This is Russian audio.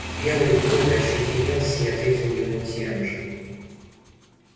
белый клык ощетинился и ответил ему тем же